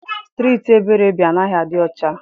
Striiti Ebere bi anaghị adị ọcha.